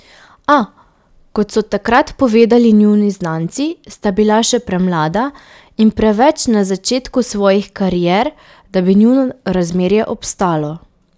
A, kot so takrat povedali njuni znanci, sta bila še premlada in preveč na začetku svojih karier, da bi njuno razmerje obstalo.